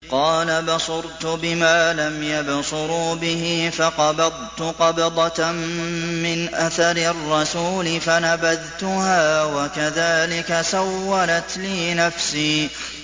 قَالَ بَصُرْتُ بِمَا لَمْ يَبْصُرُوا بِهِ فَقَبَضْتُ قَبْضَةً مِّنْ أَثَرِ الرَّسُولِ فَنَبَذْتُهَا وَكَذَٰلِكَ سَوَّلَتْ لِي نَفْسِي